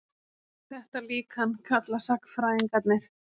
Þetta líkan kalla sagnfræðingarnir